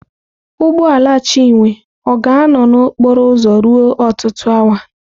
Ụgbọ ala Chinwe ọ ga-anọ na okporo ụzọ ruo ọtụtụ awa?